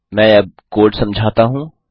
मैं अब कोड समझाता हूँ